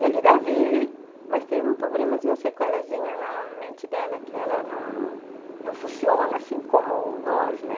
Ela ainda vive, mas tem um problemazinho, uma sequelazinha na mente dela que ela não não funciona assim como nós, né?